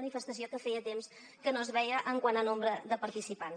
manifestació que feia temps que no es veia quant a nombre de participants